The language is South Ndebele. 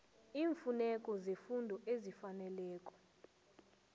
iimfuneko zefundo ezifaneleko